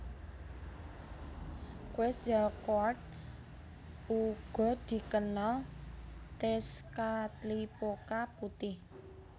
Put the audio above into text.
Quetzalcoatl uga dikenal Tezcatlipoca Putih